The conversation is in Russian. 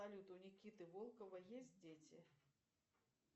салют у никиты волкова есть дети